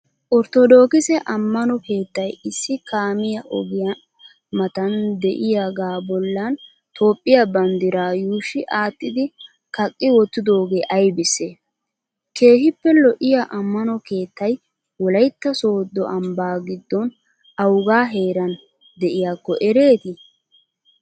Orttodokkissee ammano keettay issi kaamiya ogiya matan de'iyagaa bollan Toophiyaa banddiraa yushshi attidi kaqi wotidogee aybisee? keehippe lo'iya ammano keettay wolaytta soddo ambba giddon awuga heeran de'iyakko ereetii?